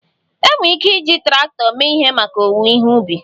E nwee ike iji traktọ mee ihe maka owuwe ihe ubi